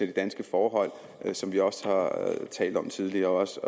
de danske forhold som vi også har talt om tidligere også